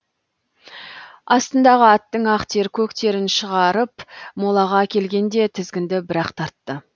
астындағы аттың ақ тер көк терін шығарып молаға келгенде тізгінді бірақ тартты